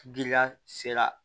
Giriya sera